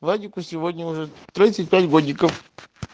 владику сегодня уже годиков